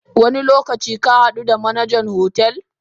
Wani lokaci kahadu da Manajan hotel?